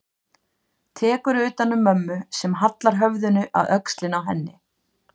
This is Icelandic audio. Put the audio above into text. Tekur utan um mömmu sem hallar höfðinu að öxlinni á henni.